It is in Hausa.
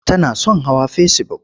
Tana son hawa fesibuk.